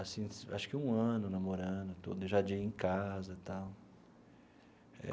Assim acho que um ano namorando tudo, já de ir em casa e tal.